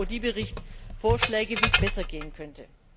Hier macht der Bericht Audy Vorschläge, wie es besser gehen könnte.